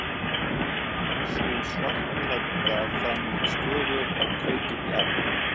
Sú svartklædda frammi í stofu að kveikja upp í arninum.